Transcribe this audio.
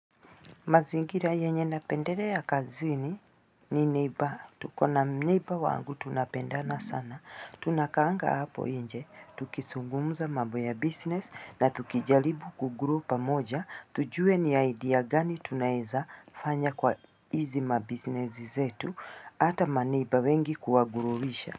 Mazingira yenye napendelea kazini ni neighbor. Tuko na neighbor wangu tunapendana sana. Tunakaanga hapo nje. Tukizungumza mambo ya business na tukijaribu kugrow pamoja. Tujue ni idea gani tunaezafanya kwa hizi mabusiness zetu. Hata ma neighbour wengi huwavurusha.